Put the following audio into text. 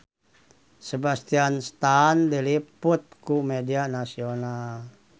Sebastian Stan diliput ku media nasional